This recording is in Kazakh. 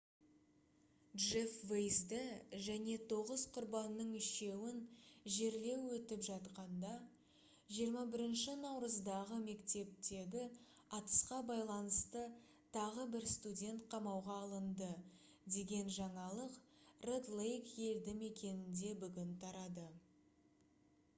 джеф вейзді және тоғыз құрбанның үшеуін жерлеу өтіп жатқанда 21 наурыздағы мектептегі атысқа байланысты тағы бір студент қамауға алынды деген жаңалық ред лейк елді мекенінде бүгін тарады